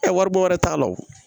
waribo yɛrɛ t'a la wo